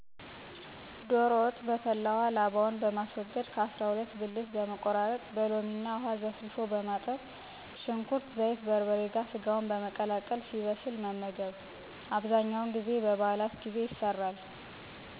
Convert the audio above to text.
ዶሮ ወጥ' በፈላ ውሃ ላባውን በማስወገድ ከ. አሰራ ሁለት ብልት በመቆራረጥ በሎሚ እና ውሃ ዘፍዝፎ በማጠብ ሽንኩርት፣ ዘይት፣ በርበሬ ጋር ሰጋውን በመቀላቀል ሲበስል መመገብ። በ. በዓላት ጊዜ ይሰራል።